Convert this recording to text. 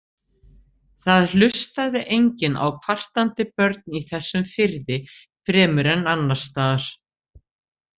Það hlustaði enginn á kvartandi börn í þessum firði, fremur en annarstaðar.